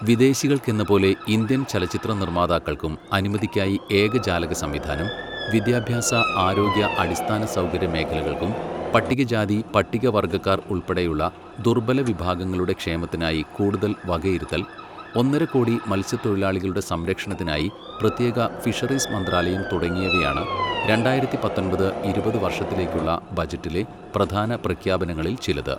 വിദേശിക്കൾക്കെന്നപോലെ Indian ചലച്ചിത്ര നിർമ്മാതാക്കൾക്കും അനുമതിക്കായി ഏകജാലക സംവിധാനം, വിദ്യാഭ്യാസ, ആരോഗ്യ, അടിസ്ഥാന സൗകര്യ മേഖലകൾക്കും പട്ടികജാതി പട്ടികവർഗ്ഗക്കാർ ഉൾപ്പെടെയുള്ള ദുർബല വിഭാഗങ്ങളുടെ ക്ഷേമത്തിനായി കൂടുതൽ വകയിരുത്തൽ, ഒന്നര കോടി മത്സ്യ തൊഴിലാളികളുടെ സംരക്ഷണത്തിനായി പ്രത്യേക ഫിഷറീസ് മന്ത്രാലയം തുടങ്ങിയവയാണ് രണ്ടായിരത്തി പത്തൊമ്പത്, ഇരുപത് വർഷത്തിലേക്കുള്ള ബജറ്റിലെ പ്രധാന പ്രഖ്യാപനങ്ങളിൽ ചിലത്.